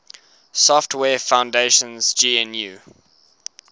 software foundation's gnu